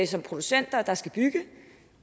som producenter der skal bygge